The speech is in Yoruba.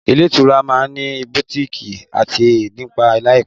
Ilé-ìtura ma ní Butikii àti dpá láìpé.